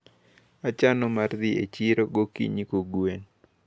Achano mar dhi e chiro gokinyi kogwen.